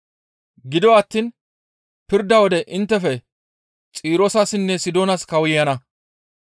Gido attiin pirda wode inttefe Xiroosessinne Sidoonas kawuyana.